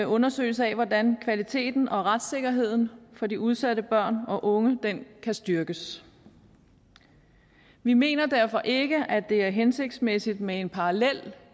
undersøgelse af hvordan kvaliteten og retssikkerheden for de udsatte børn og unge kan styrkes vi mener derfor ikke at det er hensigtsmæssigt med en parallel